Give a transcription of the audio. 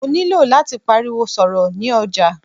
Mó nilò láti pariwo sọ̀rọ̀ ni ọjà.